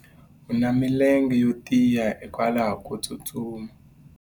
u na milenge yo tiya hikwalaho ko tsustuma